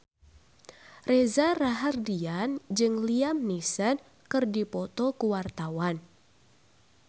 Reza Rahardian jeung Liam Neeson keur dipoto ku wartawan